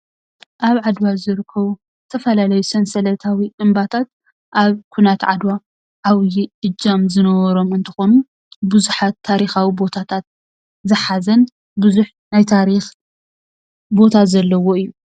ኣብ ዓድዋ ዝርከቡ ዝተፈላለዩ ሰንሰለታዊ እምባታት ኣብ ኩናት ዓድዋ ዓብዩ እጃም ዝነበሮም እንትኾኑ ብዙሓት ታሪኻዊ ቦታታት ዝሓዘን ብዙሕ ናይ ታሪኽ ቦታ ዘለዎ እዩ፡፡